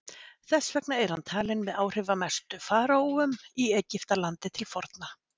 þess vegna er hann talinn með áhrifamestu faraóum í egyptalandi til forna